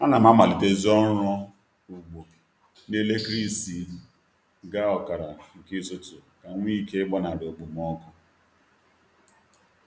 A na m amalitezi ọrụ ugbo na elekere isii gaa ọkara nke isi ụtụtụ ka m nwee ike ịgbanarị okpomọkụ